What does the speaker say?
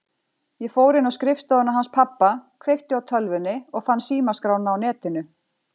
Ég fór inn á skrifstofuna hans pabba, kveikti á tölvunni og fann símaskrána á Netinu.